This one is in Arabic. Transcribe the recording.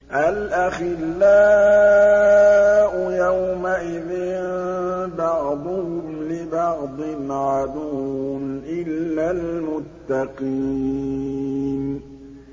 الْأَخِلَّاءُ يَوْمَئِذٍ بَعْضُهُمْ لِبَعْضٍ عَدُوٌّ إِلَّا الْمُتَّقِينَ